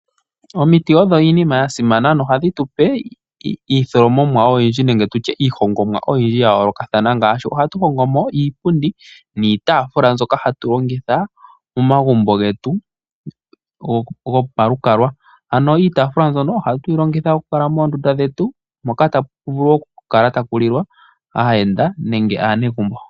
Omiti odho iinima ya simana oshoka ohadhi tupe iitholomomwa nenge iihongomwa oyindji ya yoolokathana ngaashi ohatu hongomo iipundi niitafula mbyoka hatu longitha momagumbo getu gopalukalwa ano iitafula mbyono oha tuyi longitha okukala moondunda dhetu mpoka tapu vulu okukala tapulile aayenda nenge aanegumbo.